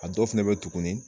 A dɔw fana bɛ yen tugun